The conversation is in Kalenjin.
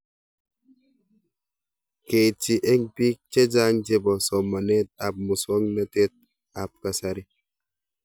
Keitchi eng' pik chechang' chepo somanet ab muswognatet ab kasari